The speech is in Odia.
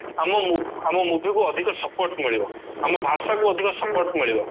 ଆମ movie ଆମ movie କୁ ଅଧିକ support ମିଳିବ ଆମ ଭାଷା କୁ ଅଧିକ support ମିଳିବ